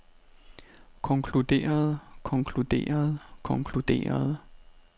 konkluderede konkluderede konkluderede